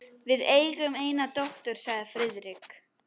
Við eigum eina dóttur sagði Friðrik.